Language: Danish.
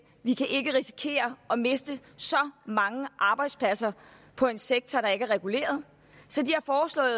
vi kan ikke risikere at miste så mange arbejdspladser på en sektor der ikke er reguleret så de